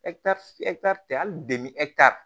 tɛ hali